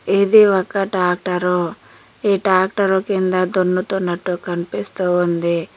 ఇది ఒక టాక్టరు ఈ టాక్టరు కింద దున్నుతున్నట్టు కనిపిస్తూ ఉంది.